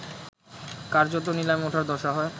কার্যত নিলামে ওঠার দশা হয়